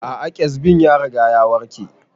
A'a kyazbin ya riga ya warke